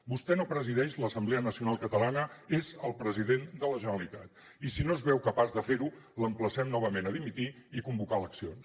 vostè no presideix l’assemblea nacional catalana és el president de la generalitat i si no es veu capaç de fer ho l’emplacem novament a dimitir i convocar eleccions